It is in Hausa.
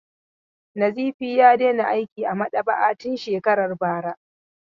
Nazifi ya daina aiki a maɗaba'a tun shekarar bara.